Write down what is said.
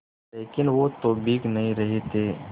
लेकिन वो तो भीग नहीं रहे थे